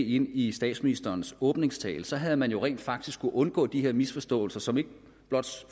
ind i statsministerens åbningstale for så havde man jo rent faktisk kunnet undgå de her misforståelser som ikke blot